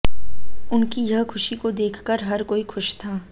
उनकी यह खुशी को देखकर हर कोई खुश था